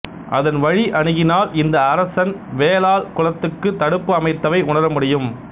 அதன் வழி அணுகினால் இந்த அரசன் வேலால் குளத்துக்குத் தடுப்பு அமைத்ததை உணரமுடியும்